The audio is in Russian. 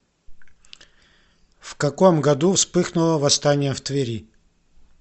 в каком году вспыхнуло восстание в твери